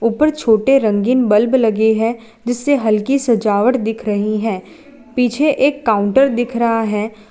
ऊपर छोटे रंगीन बल्ब लगी है जिससे हल्की सजावट दिख रही है पीछे एक काउंटर दिख रहा है।